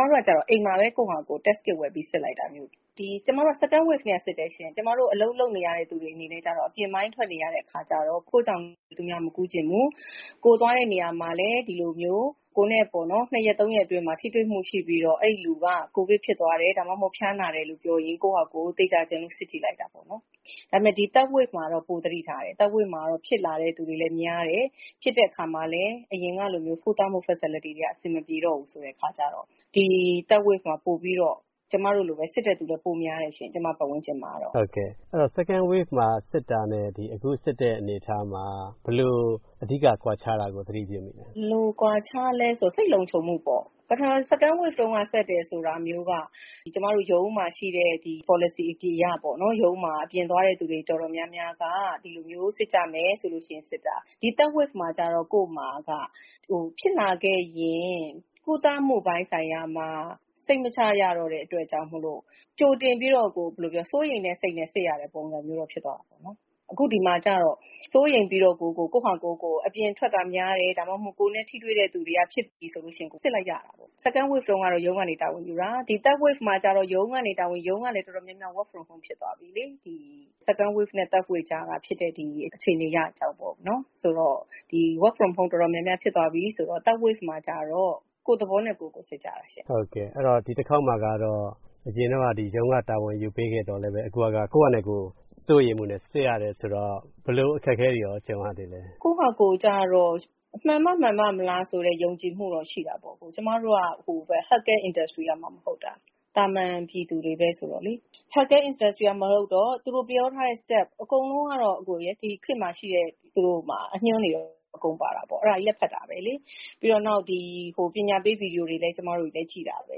မတို့ကတော့အိမ်မှာပဲ ကိုယ်ဖာသာကိုယ် Test Kit ဝယ်ပြီးစစ်လိုက်တာမျိုး။ ကျမတို့က Second Waveကတည်းကစစ်တယ်ရှင့်။ ကျမတို့အလုပ်လုပ်နေရတဲ့သူတွေအနေနဲ့ကတော့ အပြင်ပိုင်းထွက်နေရတော့ ကိုယ်ကြောင့် သူများမကူးစေချင်ဘူး။ ကိုယ်သွားတဲ့နေရာမှာလည်း ဒီလိုမျိုး ၂ရက် ၃ ရက်အတွင်းမှာ ထိတွေ့မှုရှိပြီး အဲဒီလူက ကိုယ်ဗစ်ဖြစ်သွားတယ်။ ဒါမှမဟုတ် ဖျားနာတယ်လို့ပြောရင် ကိုယ်ဖာသာကိုယ် သေချာချင်လို့စစ်ကြည့်လိုက်တာပေါ့နော်။ ဒါပေမယ့် ဒီ Third Wave မှာတော့ ပိုသတိထားတယ်။Third Wave မှာတော့ ဖြစ်လာတဲ့သူတွေလည်းများတယ်။ ဖြစ်တဲ့အခါမှာလည်း အရင်လိုမျိုး ကုသမှုFacility တွေက အဆင်မပြေတော့ဘူးအခါကြတော့ စစ်တဲ့သူတွေလည်း ကျမပတ်ဝန်းကျင်မှာ ပိုပြီးများလာတယ်ရှင့်။ ဟုတ်ကဲ့။ Second Wave မှာ စစ်တာနဲ့ အခုစစ်တဲ့အနေအထားမှာ ဘယ်လိုအဓိကကွာခြားတာကို သတိပြုမိလဲ။ ဘယ်လိုကွာခြားလဲဆို စိတ်လုံခြုံမှုပေါ့ ။ Second Wave တုံးက ကျမတို့ ရုံးမှာရှိတဲ့ Policy အရ ရုံးမှာ အပြင်သွားတဲ့သူအတော်များများက ဒီလိုမျိုးစစ်ကြမယ်ဆိုပြီးစစ်လိုက်တာပဲ။ ဒီ Third Wave မှာကြတော့ ကိုယ်မှာက ဖြစ်လာခဲ့ရင် ကုသမှုအပိုင်းမှာ စိတ်မချရတဲ့အတွက် ကြိုတင်ပြီးတော့ စိုးရိမ်တဲ့စိတ်နဲ့ စစ်ရတဲ့ပုံစံမျိုးကိုဖြစ်သွားတာပေါ့။ အခုဒီမှာကြတော့ စိုးရိမ်ပြီးတော့ကိုယ်ကို အပြင်ထွက်တာများတယ်။ ဒါမှမဟုတ် ကိုယ်နဲ့ ထိတွေ့တဲ့သူများတယ်ဆိုရင် စစ်လိုက်ကြတာပေါ့။ Second Wave တုံးက ရုံးကနေ တာဝန်ယူတာ ။ ဒီ Third Wave တုံးကတော့ ရုံးကလည်း Work from Home ဖြစ်သွားပြီလေ။ Second Wave နဲ့ Third Wave ကြားထဲက ဖြစ်တာကိုပြောတာပါ။ Work From Home ဖြစ်သွားပြီဆိုတော့ Third Wave မှာကတော့ကိုယ်သဘောနဲ့ကိုယ်ဖြစ်သွား စစ်ကြတာလေ။ အရင်တုံးက ရုံးကတာဝန်ယူပေးခဲ့သောလည်းပဲ အခုဟာက စိုးရိမ်မှုနဲ့စစ်ရတာဆိုတော့ ဘယ်လိုအခက်ခဲတွေနဲ့ ကြုံရသေးလဲ။ ကိုယ်ဖာသာကိုယ်ကြတော့ မှန်မှမှန်ပမလားဆိုတဲ့ ယုံကြည်မှုတော့ရှိတာပေါ့။ ကျမတို့က Health Care Industery ကမှမဟုတ်တာ။ သာမန်ပြည်သူတွေပဲလေ။ အကုန်လုံးကတော့ ဒီခေတ်မှာရှိတဲ့ အညွှန်းတွေကိုတော့ အကုန်ဖတ်တာပေါ့လေ။ ပြီးတော့ ပညာပေး ဗွီဒီယိုတွေလည်း ကျမတို့ကြည့်တာပဲ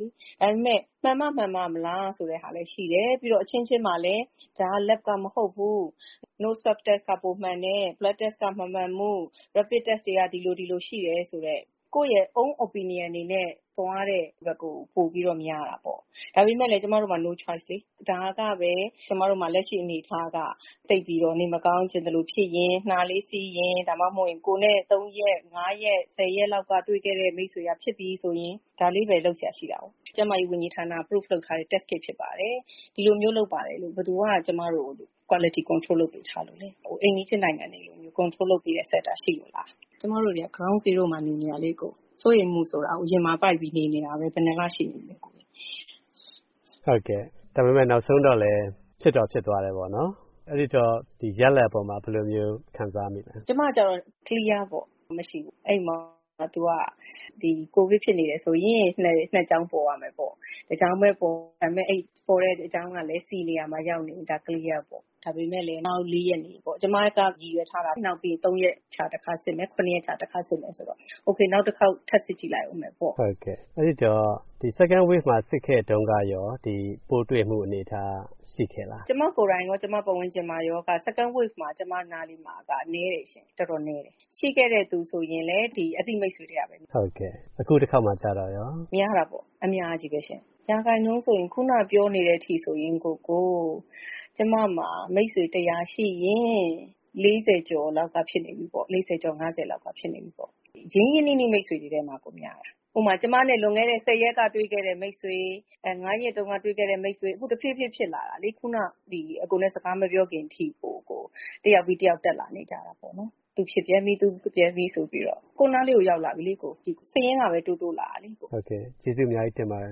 လေ။ ဒါပေမယ့် မှန်မှ မှန်ပမလားဆိုတာလည်းရှိတယ်။ ပြီးတော့ အချင်းချင်းမှာလည်းပဲ ကိုယ်ရဲ့ Leb က မဟုတ်ဘူး။ Blood Test က မှန်တယ်။ Own Opinion တွေနဲ့ သွားကြတာလေ။ ဒါပေမယ်လည်း ကျမတို့မှာ No Choice လေ။ ဒါကပဲ ကျမတို့မှာ လက်ရှိအနေအထားက သိပ်ပြီးတော့ နှာလေးစီးရင် ၊ ဒါမှမဟုတ် ကိုယ်နဲ့ ၃ ရက် ၅ရက်လောက် တွေ့ခဲ့တဲ့ မိတ်ဆွေက ဖြစ်ပြီဆိုရင် ဒါလေးပဲရှိတာကို။ ကျန်းမာရေးဝန်ကြီးဌာနက Prove လုပ်ထားတဲ့ Test ဖြစ်ပါတယ်လို့ ဘယ်သူက ကျမတို့ကို ဘယ်သူက Quility Control လုပ်ပေးထားလို့ လဲ။ အိမ်နီးချင်းနိုင်ငံတွေကို Quility Control လုပ်ပေးတဲ့ စင်တာရှိလို့လား။ ကျမတို့က Ground Zero မှာနေတာလေ။ စိုးရိမ်မှုဆိုတာ ရင်မှာပိုက်ပြီးနေတာလေ။ နောက်ဆုံးတော့ ဖြစ်တော့ဖြစ်သွားတယ်ပေါ့နော်။ ရလဒ်မှာအပေါ်ဘယ်လို ခံစားရလဲ ကျမကြတော့ Clear ပေါ့။ မရှိဘူး။ ကိုဗစ်ဖြစ်နေတယ်ဆိုရင် နှစ်ကြောင်းပေါ်ရမယ်ပေါ့။ တကြောင်းတည်ပေါ် ပေါ်တဲ့အကြောင်းကလည်း C နေရာမှာ ရောက်နေရင် Clear ပေါ့။ ဒါပေမယ်လည်း နောက် ၄ ရက်နေရင်ပေါ့။ ၃ ရက်ခြားတခါစစ်မယ်။ နောက် ၇ရက်ခြားတခါစစ်မယ်။ Ok နောက်တခေါက်ထပ်စစ်ကြည့်မယ်ပေါ့။ ဒီ Second Wave မှာ စစ်ခဲ့တုံးကရော ပိုးတွေ့မှုအနေအထားရှိခဲ့လား။ ကျမကိုယ်တိုင်ရော ကျမပတ်ဝန်ကျင်ရော Second Wave တော်တော်ကိုနည်းတယ်ရှင့်။ ရှိခဲ့လိုရှိရင် အသိမိတ်ဆွေထဲကပဲ။ အခုတခေါက်မှာရော များတာပေါ့။ အခုနပြောနေတဲ့အထိ ကျမမှာ မိတ်ဆွေ ၁၀၀ ရှိရင် ၄ဝ ကျော် ၅ဝ လောက်ဖြစ်နေကြပြီ။ ရင်းရင်းနှီးနှီးတွေထဲကပဲပေါ့။ ဥပမာ ကျမနဲ့ ၁ဝရက်ကတွေ့တဲ့ မိတ်ဆွေ၊ ၅ ရက်တုံးကတွေ့တဲ့မိတ်ဆွေ။ အခု တဖြေးဖြေးဖြစ်လာတာလေ။ အကိုနဲ့ စကားမပြောခင်ထိကို တယောက်ပြီးတယောက်တက်လာနေတာပေါ့နော်။ သူဖြစ်ပြန်ပြန် ငါဖြစ်ပြန်ပြီဆိုပြီး ကိုယ်အနားကို ရောက်လာနေပြီ။ စာရင်းတွေက တိုးတိုးလာပြီ။ ဟုတ်ကဲ့။ ကျေးဇူးအများကြီးတင်ပါတယ်